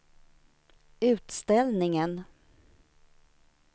utställningen